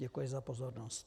Děkuji za pozornost.